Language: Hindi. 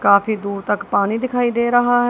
काफी दूर तक पानी दिखाई दे रहा है।